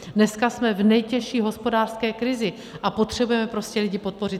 Dneska jsme v nejtěžší hospodářské krizi a potřebujeme prostě lidi podpořit.